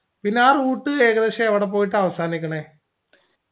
പിന്നെ ആ route ഏകദേശം എവിടെ പോയിട്ട അവസാനിക്കുണെ